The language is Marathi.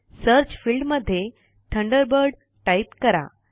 सर्च फील्ड मध्ये थंडरबर्ड टाइप करा